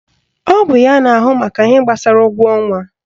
Ọ bụ ya na ahụ maka ihe gbasara ụgwọ ọnwa